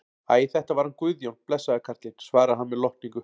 Æ, þetta var hann Guðjón, blessaður karlinn, svarar hann með lotningu.